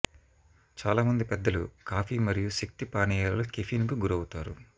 చాలామంది పెద్దలు కాఫీ మరియు శక్తి పానీయాలలో కెఫిన్ కు గురవుతారు